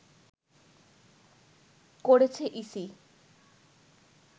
করেছে ইসি